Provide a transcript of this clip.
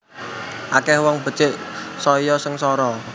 Akeh wong becik saya sengsara